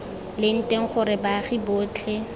leng teng gore baagi botlhe